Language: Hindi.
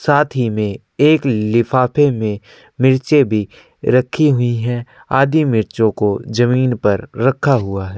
साथ ही में एक लिफाफे में मिर्चे भी रखी हुई है। आदि मिर्चो को जमीन पर रखा हुआ है।